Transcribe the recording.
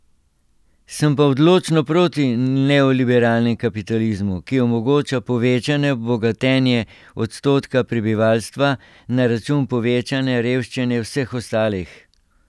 Sem pa odločno proti neoliberalnemu kapitalizmu, ki omogoča povečano bogatenje odstotka prebivalstva na račun povečanja revščine vseh ostalih.